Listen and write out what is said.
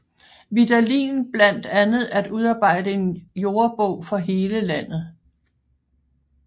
Vidalin blandt andet at udarbejde en jordebog for hele Landet